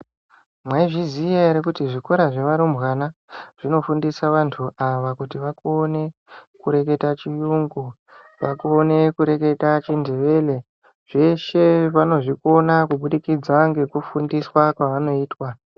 Mwaizviziya ere kuti zvikora zvevarumbana zvinofundisa antu ava kuti vakone kureketa chiyungu, vakone kureketa chindevere. Zveshe vanozvikona kubudzikidza ngekufundiswa kwavanoitwa.